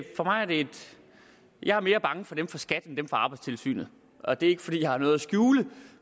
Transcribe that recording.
jeg er mere bange for dem fra skat end for dem fra arbejdstilsynet og det er ikke fordi jeg har noget at skjule